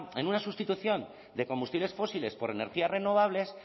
en una sustitución de combustibles fósiles por energías renovables